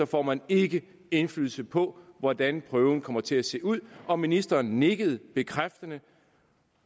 får man ikke indflydelse på hvordan prøven kommer til at se ud og ministeren nikkede bekræftende